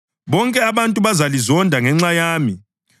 Bonke abantu bazalizonda ngenxa yami.